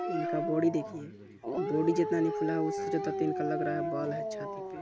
इनका बॉडी देखिये बॉडी जितना नई फुला है उससे ज्यादा लग रहा है इनका बाल है छाती पे--